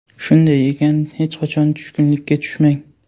Shunday ekan, hech qachon tushkunlikka tushmang!